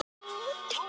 En vinur minn.